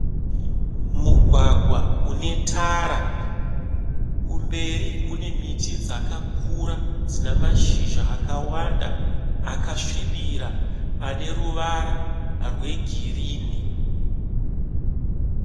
Mugwagwa une tara. Kumberi kune miti dzakakura dzina mashizha akawanda akasvibira ane ruvara rwegirinhi.